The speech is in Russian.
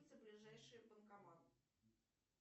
ближайший банкомат